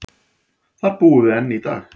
Þar búum við enn í dag.